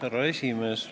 Härra esimees!